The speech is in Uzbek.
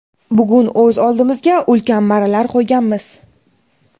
bugun o‘z oldimizga ulkan marralar qo‘yganmiz.